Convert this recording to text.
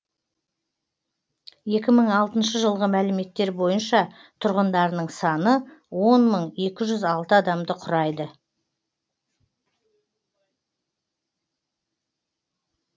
екі мың алтыншы жылғы мәліметтер бойынша тұрғындарының саны он мың екі жүз алты адамды құрайды